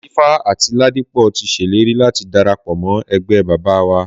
Làtífá àti Ládípọ̀ ti ṣèlérí láti darapọ̀ mọ́ ẹgbẹ́ bábà wa.